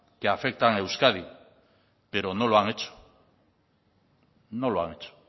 que afectan a euskadi pero no lo han hecho no lo han hecho